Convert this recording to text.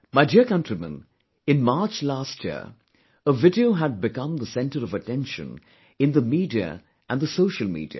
My dear countrymen, in March last year, a video had become the centre of attention in the media and the social media